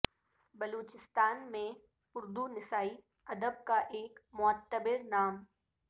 بلوچستان میں اردو نسائی ادب کا ایک معتبر نام